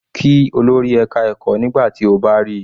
Kí olórí ẹka ẹ̀kọ́ nígbà tí o bá ríi.